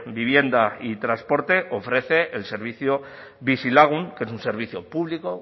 vivienda y transporte ofrece el servicio bizilagun que es un servicio público